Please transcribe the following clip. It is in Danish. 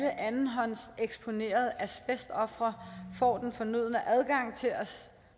andenhåndseksponerede asbestofre får den fornødne adgang til at